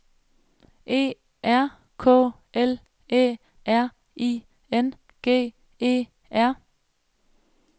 E R K L Æ R I N G E R